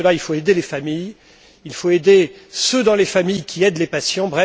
Pour ce faire, il faut aider les familles et aider ceux dans les familles qui aident les patients.